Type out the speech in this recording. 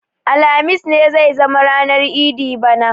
Alhamis ne zai zama ranar idi bana